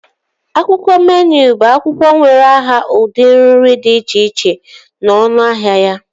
Akwụkwọ meenụ bụ akwụkwọ nwere aha udiri nri dị iche iche na ọnụahịa ya